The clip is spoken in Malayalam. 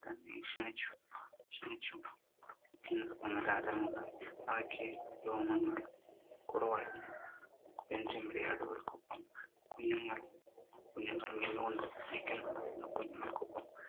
തന്നെ ക്ഷണിച്ചു, എന്നൊരു തോന്നൽ രാജാവിനുണ്ടായി. അവയ്ക്ക് രോമങ്ങൾ കുറവായിരുന്നു. പെൺചെമ്മരിയാടുകൾക്കൊപ്പം കുഞ്ഞുങ്ങളും മേഞ്ഞു കൊണ്ടിരിക്കുന്നുണ്ടായിരുന്നു. കുഞ്ഞുങ്ങൾക്കൊപ്പം